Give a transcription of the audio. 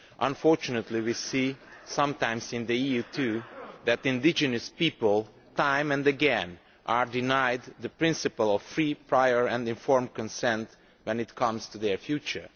Unfortunately we see, sometimes in the EU too, that indigenous people, time and again, are denied the principle of free, prior and informed consent when it comes to their future.